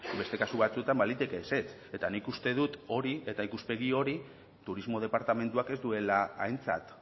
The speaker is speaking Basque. beste kasu batzuetan baliteke ezetz eta nik uste dut hori eta ikuspegi hori turismo departamentuak ez duela aintzat